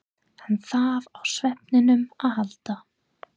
Hann þarf á svefninum að halda.